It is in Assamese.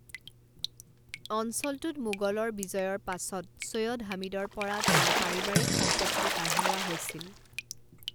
অঞ্চলটোত মোগলৰ বিজয়ৰ পাছত, চৈয়দ হামিদৰ পৰা তেওঁৰ পাৰিবাৰিক সম্পত্তি কাঢ়ি লোৱা লৈছিল।